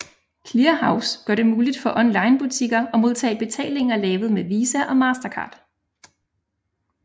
Clearhaus gør det muligt for onlinebutikker at modtage betalinger lavet med Visa og Mastercard